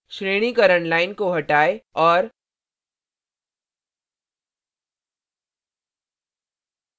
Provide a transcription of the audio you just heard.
श्रेणीकरण line को हटाएँ और